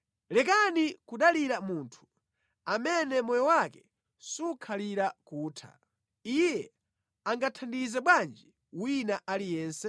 Lekani kudalira munthu, amene moyo wake sukhalira kutha. Iye angathandize bwanji wina aliyense?